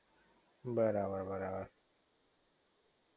બરાબર